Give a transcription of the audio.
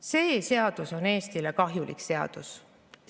See seadus on Eestile kahjulik seadus.